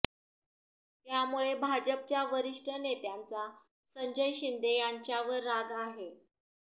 त्यामुळे भाजपच्या वरिष्ठ नेत्यांचा संजय शिंदे यांच्यावर राग आहे